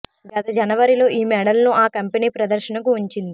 గత జనవరిలో ఈ మోడల్ను ఆ కంపెనీ ప్రదర్శనకు ఉం చింది